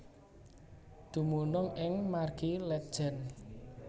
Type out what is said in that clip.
Dumunung ing Margi Letjen